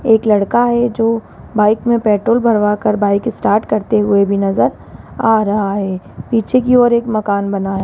एक लड़का है जो बाइक में पेट्रोल भरवा कर बाइक स्टार्ट करते हुए भी नजर आ रहा है पीछे की ओर एक मकान बना है।